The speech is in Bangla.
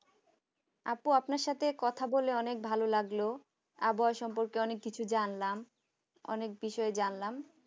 আপু আপনার সাথে কথা বলে অনেক ভালো লাগলো আবহাওয়া সম্পর্কে অনেক কিছু জানলাম অনেক বিষয় জানলাম